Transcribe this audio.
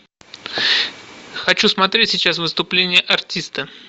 хочу смотреть сейчас выступление артиста